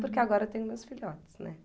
Porque agora eu tenho meus filhotes, né?